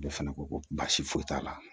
Ale fana ko ko baasi foyi t'a la